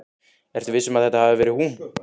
Ertu viss um að þetta hafi verið hún?